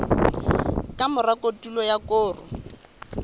ka mora kotulo ya koro